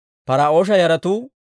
Par"oosha yaratuu 2,172.